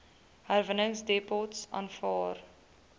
herwinningsdepots aanvaar